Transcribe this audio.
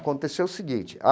Aconteceu o seguinte.